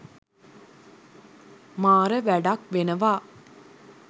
මාර වැඩක් වෙනවා.